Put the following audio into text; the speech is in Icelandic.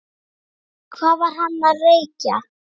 Hvað var hann að reykja?